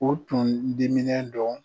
O tun diminen don,